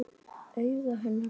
Augu hennar þannig.